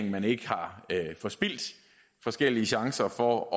at man ikke har forspildt forskellige chancer for at